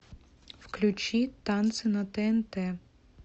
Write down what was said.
включи танцы на тнт